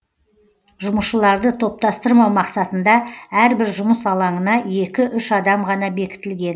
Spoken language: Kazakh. жұмысшыларды топтастырмау мақсатында әрбір жұмыс алаңына екі үш адам ғана бекітілген